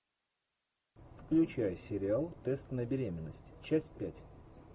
включай сериал тест на беременность часть пять